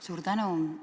Suur tänu!